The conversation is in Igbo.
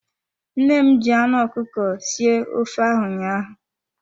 Nne m ji anụ ọkụkọ sie ofe ahụ ụnyaahụ.